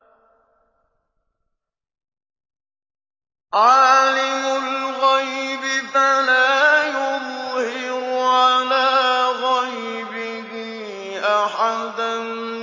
عَالِمُ الْغَيْبِ فَلَا يُظْهِرُ عَلَىٰ غَيْبِهِ أَحَدًا